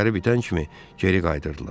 İşləri bitən kimi geri qayıdırdılar.